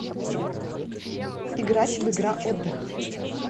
играть в игра отдых